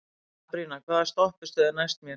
Sabrína, hvaða stoppistöð er næst mér?